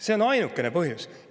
See on ainukene põhjus.